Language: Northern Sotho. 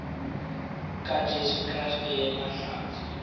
ka jesu kriste yena hlatse